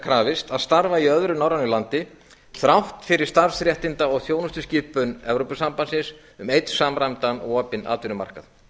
krafist að starfa í öðru norrænu landi þrátt fyrir starfsréttinda og þjónustuskipun evrópusambandsins um einn samræmdan opinn atvinnumarkað